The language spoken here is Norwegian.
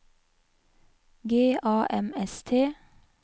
G A M S T